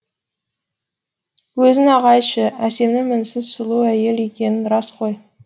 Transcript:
өзің ақ айтшы әсемнің мінсіз сұлу әйел екені рас қой